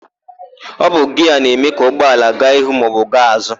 Ọ bụ giaa na-eme ka ụgbọala gaa ihu maọbụ gaa azụ.